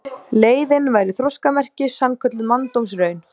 Leiðin væri þroskamerki, sannkölluð manndómsraun.